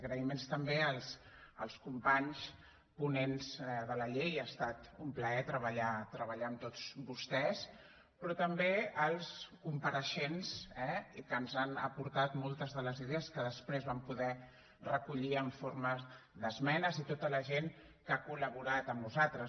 agraïments també als companys ponents de la llei ha estat un plaer treballar amb tots vostès però també als compareixents eh que ens han aportat moltes de les idees que després vam poder recollir en forma d’esmenes i tota la gent que ha collaborat amb nosaltres